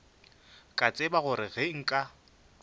ka tseba gore ge nka